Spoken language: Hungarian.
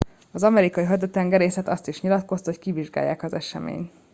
az amerikai haditengerészet azt is nyilatkozta hogy kivizsgálják az eseményt